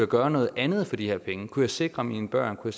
gøre noget andet for de her penge kunne jeg sikre mine børn kunne